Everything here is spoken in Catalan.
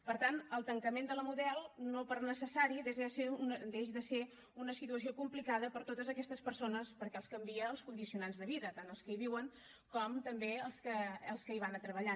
per tant el tancament de la model no per necessari deixa de ser una situació complicada per a totes aquestes persones perquè els canvia els condicionants de vida tant als que hi viuen com també als que hi van a treballar